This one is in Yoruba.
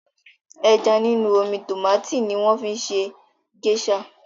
Ẹja nínú omi tòmátì ni wọ́n fi ń ṣe géṣà.